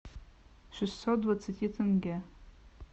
шестьсот двадцати тенге